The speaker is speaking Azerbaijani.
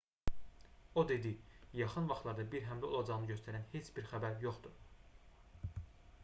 o dedi yaxın vaxtlarda bir həmlə olacağını göstərən heç bir xəbər yoxdur